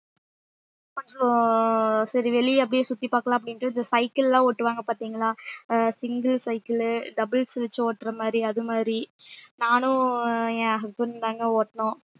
கொஞ்சம் சரி வெளியே அப்படியே சுத்தி பார்க்கலாம் அப்படின்ட்டு இந்த cycle லாம் ஓட்டுவாங்க பார்த்தீங்களா அஹ் single cycle உ doubles வெச்சு ஓட்டுற மாதிரி அது மாதிரி நானும் என் husband உம் தாங்க ஓட்டனோம்